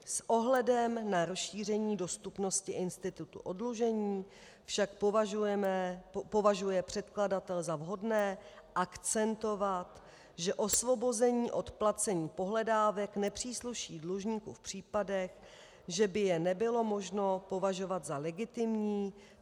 S ohledem na rozšíření dostupnosti institutu oddlužení však považuje předkladatel za vhodné akcentovat, že osvobození od placení pohledávek nepřísluší dlužníku v případech, že by je nebylo možno považovat za legitimní.